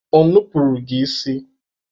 O nupuru gị isi?